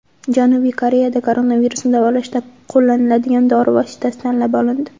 Janubiy Koreyada koronavirusni davolashda qo‘llaniladigan dori vositasi tanlab olindi.